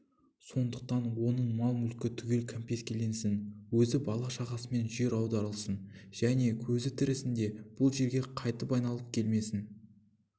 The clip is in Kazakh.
сондықтан оның мал-мүлкі түгел кәмпескеленсін өзі бала-шағасымен жер аударылсын және көзі тірісінде бұл жерге қайтып айналып келмесін